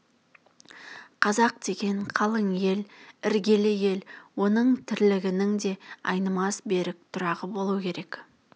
қазақ деген қалың ел іргелі ел оның тірлігінің де айнымас берік тұрағы болу керек